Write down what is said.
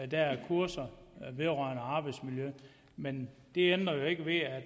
der er kurser vedrørende arbejdsmiljø men det ændrer jo ikke ved at